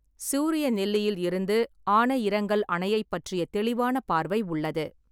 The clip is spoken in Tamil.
சூரியநெல்லியில் இருந்து ஆனையிரங்கல் அணையைப் பற்றிய தெளிவான பார்வை உள்ளது.